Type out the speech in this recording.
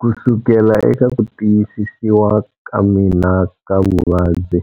Kusukela eka kutiyisisiwa ka mina ka vuvabyi,